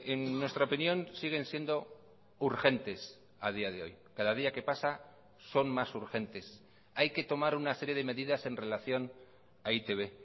en nuestra opinión siguen siendo urgentes a día de hoy cada día que pasa son más urgentes hay que tomar una serie de medidas en relación a e i te be